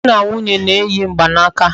Di na nwunye na-eyi mgbanaka